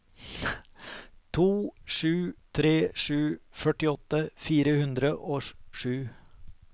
to sju tre sju førtiåtte fire hundre og sju